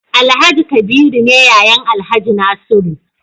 Alhaji kabiru ne yayan alhaji nasiru